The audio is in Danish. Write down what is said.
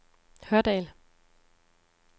Hørdal